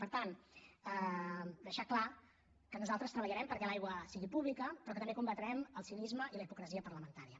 per tant deixar clar que nosaltres treballarem perquè l’aigua sigui pública però que també combatrem el cinisme i la hipocresia parlamentària